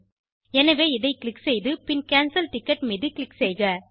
எனவே இதை க்ளிக் செய்து பின் கேன்சல் டிக்கெட் மீது க்ளிக் செய்க